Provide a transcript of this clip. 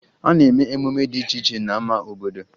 A na-eme emume dị iche iche n'ama obodo